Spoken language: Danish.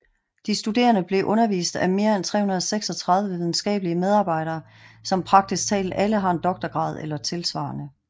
De studerend bliver undervist af mere end 336 videnskabelige medarbejdere som praktisk taget alle har en doktorgrad eller tilsvarende